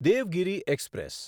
Devgiri express